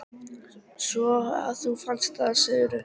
Svo að þú fannst það, segirðu?